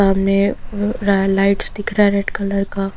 सामने र ला लाइट्स दिख रहा है रेड कलर का --